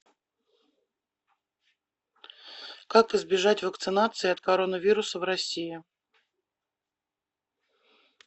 как избежать вакцинации от коронавируса в россии